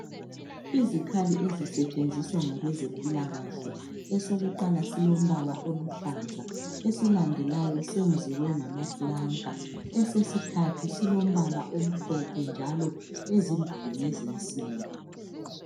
izikhali ezisetshenziswa ngabezempilakahle esokuqhala silompala oluhlaza esesibili senziwe ngamapulanka esesithathu silompala omhlophe njalo ezimbili ngezensimbi